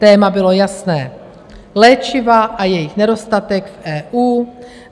Téma bylo jasné, léčiva a jejich nedostatek v EU.